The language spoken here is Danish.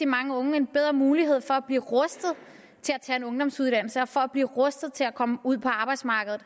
mange unge en bedre mulighed for at blive rustet til at tage en ungdomsuddannelse og for at blive rustet til at komme ud på arbejdsmarkedet